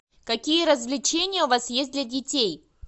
какие развлечения у вас есть для детей